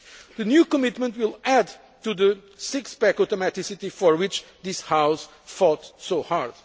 process. The new commitment will add to the six pack' automaticity for which this House fought